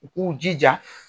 U k'u jija